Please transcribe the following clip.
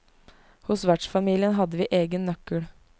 Hos vertsfamilien hadde vi egen nøkkel.